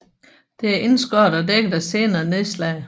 Det er indskåret og dækket af senere nedslag